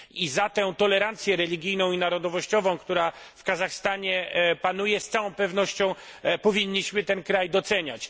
I za tę tolerancję religijną i narodowościową, która w Kazachstanie panuje z całą pewnością powinniśmy ten kraj doceniać.